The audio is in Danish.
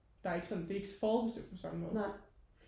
der er ikke sådan det er ikke forudbestemt på samme måde